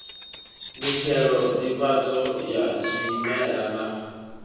mitshelo nḓivhadzo ya zwimela na